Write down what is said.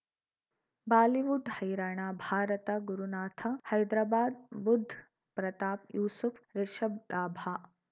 Bollywood ಹೈರಾಣ ಭಾರತ ಗುರುನಾಥ ಹೈದರಾಬಾದ್ ಬುಧ್ ಪ್ರತಾಪ್ ಯೂಸುಫ್ ರಿಷಬ್ ಲಾಭ